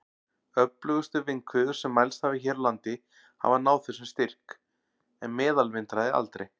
Öflugustu vindhviður sem mælst hafa hér á landi hafa náð þessum styrk, en meðalvindhraði aldrei.